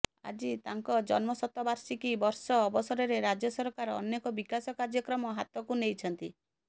ଆଜି ତାଙ୍କ ଜନ୍ମଶତବାର୍ଷିକୀ ବର୍ଷ ଅବସରରେ ରାଜ୍ୟ ସରକାର ଅନେକ ବିକାଶ କାର୍ଯ୍ୟକ୍ରମ ହାତକୁ ନେଇଛନ୍ତି